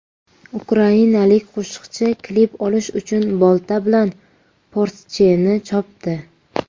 Ukrainalik qo‘shiqchi klip olish uchun bolta bilan Porsche’ni chopdi.